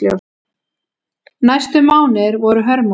Næstu mánuðir voru hörmung.